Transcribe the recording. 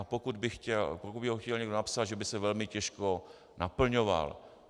A pokud by ho chtěl někdo napsat, že by se velmi těžko naplňoval.